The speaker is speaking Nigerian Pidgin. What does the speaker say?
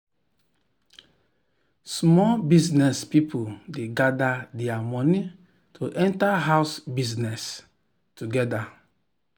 small business people dey gather their money to enter house business together.